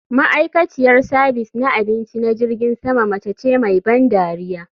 Ma'aikaciyar sabis na abinci na jirgin sama mace ce mai ban dariya